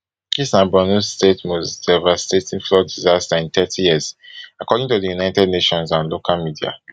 dis na borno state most devastating flood disaster in thirty years according to di united nations and local media